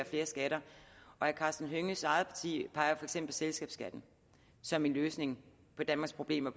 flere skatter og herre karsten hønges eget parti af selskabsskatten som en løsning på danmarks problemer